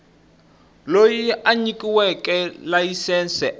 loyi a nyikiweke layisense a